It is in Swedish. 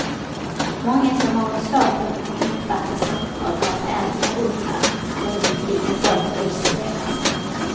Många som har svårt att uppfatta samtal drar sig allt mer undan, börjar undvika folk och isolerar sig.